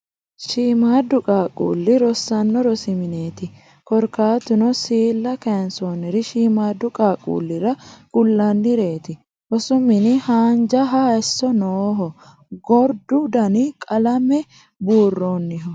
Shiimaadda qaaqquulle rosiinsanni rosi mineeti korkaatuno siilla kayinsoonniri shiimmaaddu qaaqquullira kullannireeti rosu mini haanjaha hayisso nooho. Gordu Dani qalame buurrooniho.